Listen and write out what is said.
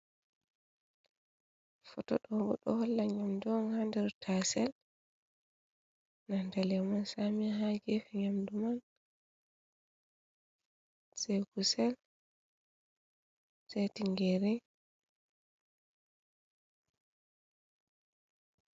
Footo dobbo ɗo ɗo holla ɗum nyamdu on haa nder taasel bee nanta leemon saami on haa geefe, nyamdu man kusel on haa geefe.